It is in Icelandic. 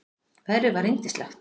Veðrið var yndislegt.